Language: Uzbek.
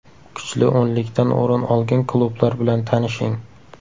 Kuchli o‘nlikdan o‘rin olgan klublar bilan tanishing: !